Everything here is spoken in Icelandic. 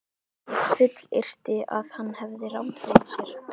Ég fullyrti, að hann hefði rangt fyrir sér.